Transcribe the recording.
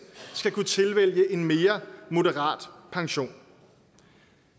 skal kunne tilvælge en mere moderat pension